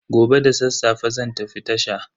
Gobe da sassafe zan tafi tasha.